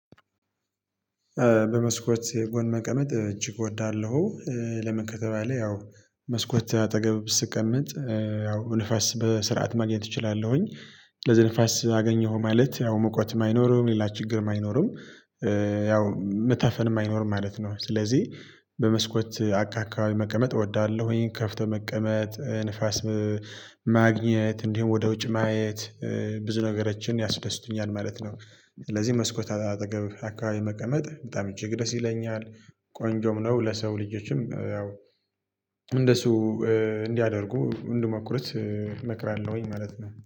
በመስኮቴ የጎን መቀመጥ እጅግ እወዳለሁ። ለምን ከተባለ ያው መስኮት አጠገብ ስቀመጥ ያው ንፋስ በስርዓት ማግኘት እችላለሁኝ። ለዚህ ንፋስ አገኘሁ ማለት ያው ሙቀትም አይኖርም ሌላ ችግርም አይኖርም ያው መታፈንም አይኖርም ማለት ነው። ስለዚህ በመስኮት አካካባቢ መቀመጥ እወዳለሁኝ ከፍቶ መቀመጥ ንፋስ። ማግኘት እንዲሁም ወደ ውጭ ማየት ብዙ ነገሮችን ያስደስቱኛል ማለት ነው። ስለዚህ መስኮት አጠገብ አካባቢ መቀመጥ በጣም እጅግ ደስ ይለኛል። ቆንጆም ነው ለሰው ልጆችም ያው እንደሱ እንዲያደርጉ እንድሞክሩት እመክራለሁኝ ማለት ነው